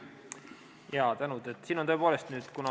Tänu!